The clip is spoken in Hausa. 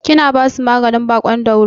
Kina basu maganin baƙon dauro?